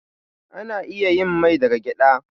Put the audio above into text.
Ana iya yin mai daga gyaɗa.